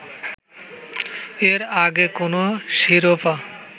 এর আগে কোনো শিরোপা